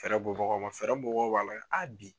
Fɛɛrɛ bɔ bagaw ma fɛɛrɛ bɔ bagaw b'a lajɛ bi.